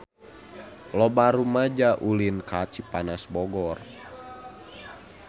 Loba rumaja ulin ka Cipanas Bogor